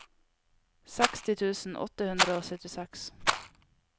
seksti tusen åtte hundre og syttiseks